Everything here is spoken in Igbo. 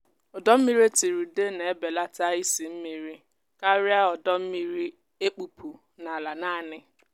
ụdọ mmiri e tiri ude na-ebelata isị mmiri karịa ọdọ mmiri e kpụpụ n’ala naanị.